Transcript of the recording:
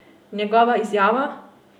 Njegova izjava?